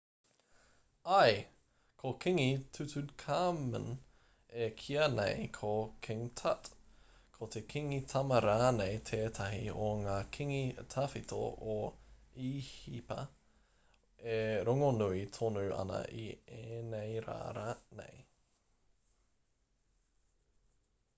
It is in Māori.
āe ko kingi tutankhamun e kīa nei ko king tut ko te kingi tama rānei tētahi o ngā kingi tawhito o īhipa e rongonui tonu ana i ēnei rā nei